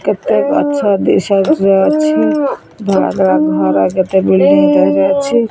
କେତେ ଗଛ the side ରେ ଅଛି ଧଳା ଧଳା ଘର କେତେ ବିଲଡିଂ ଟାରେ ଅଛି।